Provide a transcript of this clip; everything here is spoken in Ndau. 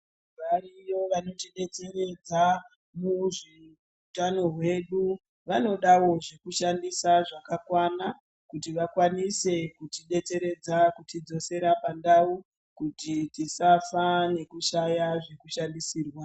Variyo vanotidetseredza muutano hwedu vanodawo zvekushandisa zvakakwana vanotidetseredza muutano hwedu vanodawo zvekushandisa zvakakwana kuti vakwanise kutidetseredza kutidzosera pandau kuti tisasa nekushaya zvekushandisirwa.